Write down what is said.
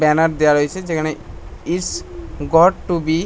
banner দেওয়া রয়েছে যেখানে ইস গড টু বি--